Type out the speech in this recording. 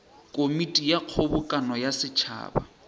komiti ya kgobokano ya setšhaba